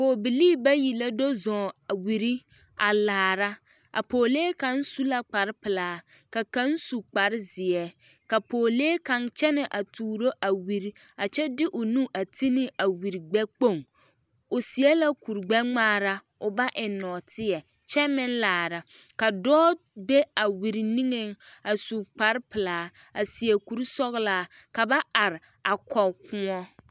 Pɔgebilii la do zɔŋ wiri a laara, a pɔgelee kaŋ su la kpare pelaa ka kaŋ su kpare zeɛ ka pɔgelee kaŋa kyɛnɛ a tuuro a wiri kyɛ de o nu a ti ne a wiri gbɛkpoŋ o seɛ la kuri gbɛ-ŋmaara o ba eŋ nɔɔteɛ kyɛ meŋ laara ka dɔɔ be a wiri niŋeŋ a su kpare pelaa a seɛ kuri sɔgelaa ka ba are a kɔge kõɔ.